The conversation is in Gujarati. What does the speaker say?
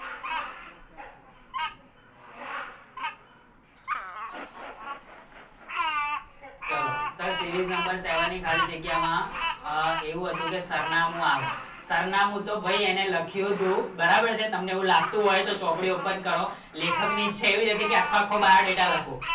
નંબર સેવાની ખાલી જગ્યામાં એવું હતું કે સરનામું આવે સરનામું તો ભાઈ એને લખ્યું હતું બરાબર છે તમને એવું લાગતું હોય તો ચોપડી ઓપન કરો લેખકની છેવી હોય તો આખો આખો biodata લખું